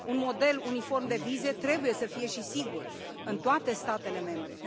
Un model uniform de vize trebuie să fie, și sigur, în toate statele membre.